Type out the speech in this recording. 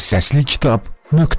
Səslikitab.net.